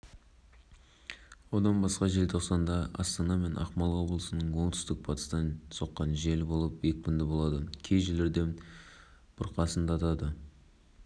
желтоқсан күні түнде батыс қазақстан облысында ауа температурасы күрт суытып минус градусқа түседі атырау облысында минус градус аяз болады делінген сәрсенбі